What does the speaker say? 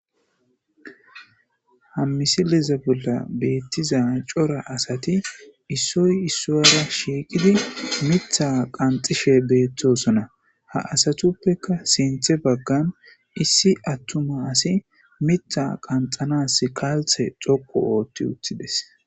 Ha misileza bola betiza cora asati issoyi issuwara shiqidi miththa qanixishe betosona haa asatuppekka sinththe baggani issi atuma asimiththa qaanxanasi kalita dhoqu ooththideesi